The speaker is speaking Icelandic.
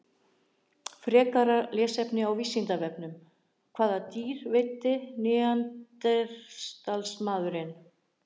Frekara lesefni á Vísindavefnum: Hvaða dýr veiddi neanderdalsmaðurinn?